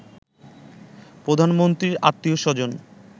প্রধানমন্ত্রীর আত্মীয়-স্বজন